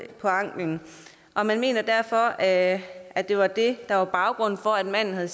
på anklen og man mener derfor at at det var det der var baggrunden for at manden havde